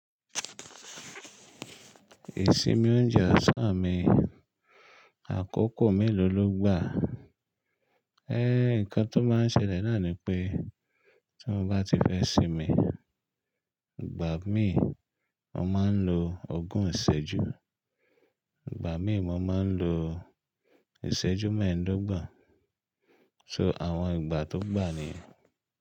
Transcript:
Ìsinmi oúnjẹ ọ̀sán mi, àkókò mélòó ló gbà? Eh, nǹkan tó máa ń ṣẹlẹ̀ náà ni pé tí mo bá ti fẹ́ sinmi, ìgbà mi mo máa ń lo ogún ìṣẹ́jú, ìgbà mi mo máa ń lo ìṣẹ́jú mẹ́ẹ̀ẹ́dógbon, so àwọn ìgbà tó gbà ni.